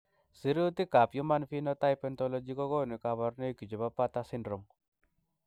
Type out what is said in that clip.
Sirutikab Human Phenotype Ontology kokonu koborunoikchu chebo Bartter syndrome.